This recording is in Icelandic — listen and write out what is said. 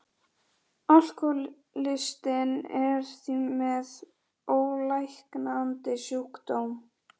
Þeim þótti kostur hans einhæfur og einatt beinlínis úreltur.